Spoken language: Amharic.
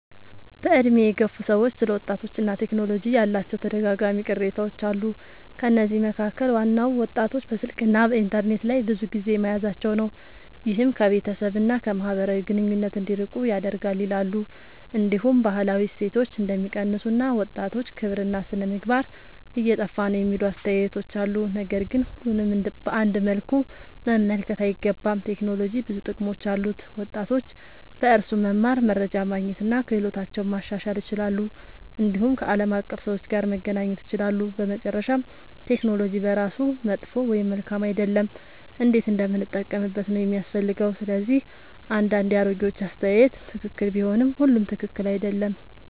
በዕድሜ የገፉ ሰዎች ስለ ወጣቶችና ቴክኖሎጂ ያላቸው ተደጋጋሚ ቅሬታዎች አሉ። ከነዚህ መካከል ዋናው ወጣቶች በስልክና በኢንተርኔት ላይ ብዙ ጊዜ መያዛቸው ነው፤ ይህም ከቤተሰብ እና ከማህበራዊ ግንኙነት እንዲርቁ ያደርጋል ይላሉ። እንዲሁም ባህላዊ እሴቶች እንደሚቀንሱ እና ወጣቶች ክብርና ሥነ-ምግባር እየጠፋ ነው የሚሉ አስተያየቶች አሉ። ነገር ግን ሁሉንም በአንድ መልኩ መመልከት አይገባም። ቴክኖሎጂ ብዙ ጥቅሞች አሉት፤ ወጣቶች በእርሱ መማር፣ መረጃ ማግኘት እና ክህሎታቸውን ማሻሻል ይችላሉ። እንዲሁም ከዓለም አቀፍ ሰዎች ጋር መገናኘት ይችላሉ። በመጨረሻ ቴክኖሎጂ በራሱ መጥፎ ወይም መልካም አይደለም፤ እንዴት እንደምንጠቀምበት ነው የሚያስፈልገው። ስለዚህ አንዳንድ የአሮጌዎች አስተያየት ትክክል ቢሆንም ሁሉም ትክክል አይደለም።